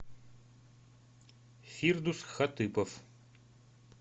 фирдус хатыпов